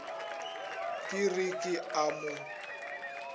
ke re ke a mo